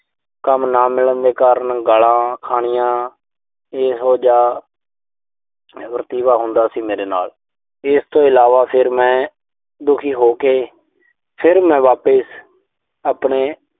ਕੰਮ ਨਾ ਮਿਲਣ ਦੇ ਕਾਰਨ ਗਾਲਾਂ ਖਾਣੀਆਂ। ਇਹੋ ਜਿਹਾ ਵਤੀਰਾ ਹੁੰਦਾ ਸੀ ਮੇਰੇ ਨਾਲ। ਇਸ ਤੋਂ ਇਲਾਵਾ ਫਿਰ ਮੈਂ ਦੁਖੀ ਹੋ ਕੇ ਫਿਰ ਮੈਂ ਵਾਪਿਸ ਆਪਣੇ